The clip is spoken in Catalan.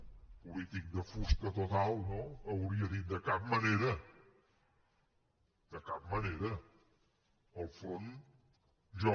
un polític de fusta total no hauria dit de cap manera de cap manera al front jo